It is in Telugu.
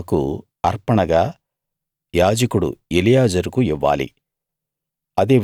యెహోవాకు అర్పణగా యాజకుడు ఎలియాజరుకు ఇవ్వాలి